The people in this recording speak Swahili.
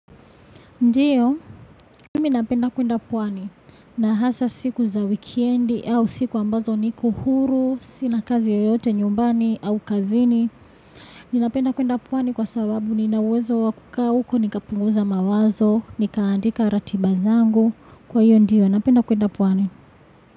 Ndiyo, mimi napenda kuenda pwani. Nahasa siku za weekendi au siku ambazo niku huru, sina kazi yoyote nyumbani au kazini. Ninapenda kuenda pwani kwa sababu ninuwezo wa kuka uko nikapunguza mawazo, nikaandika ratibazangu. Kwa hiyo ndiyo, napenda kuenda pwani.